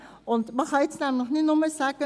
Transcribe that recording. Man kann jetzt nämlich nicht nur sagen: